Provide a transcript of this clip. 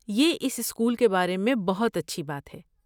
یہ اس اسکول کے بارے میں بہت اچھی بات ہے۔